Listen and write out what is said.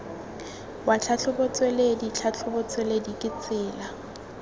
wa tlhatlhobotsweledi tlhatlhobotsweledi ke tsela